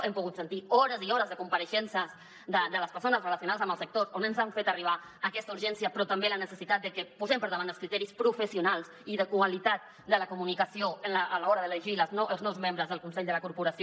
hem pogut sentir hores i hores de compareixences de les persones relacionades amb el sector on ens han fet arribar aquesta urgència però també la necessitat de que posem per davant els criteris professionals i de qualitat de la comunicació a l’hora d’elegir els nous membres del consell de la corporació